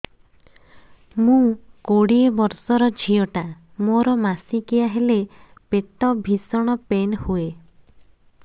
ମୁ କୋଡ଼ିଏ ବର୍ଷର ଝିଅ ଟା ମୋର ମାସିକିଆ ହେଲେ ପେଟ ଭୀଷଣ ପେନ ହୁଏ